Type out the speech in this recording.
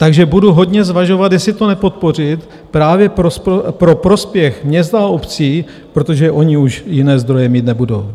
Takže budu hodně zvažovat, jestli to nepodpořit právě pro prospěch měst a obcí, protože ony už jiné zdroje mít nebudou.